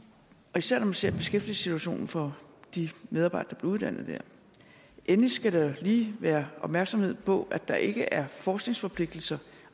og især når man ser på beskæftigelsessituationen for de medarbejdere der bliver uddannet der endelig skal der lige være opmærksomhed på at der ikke er forskningsforpligtelser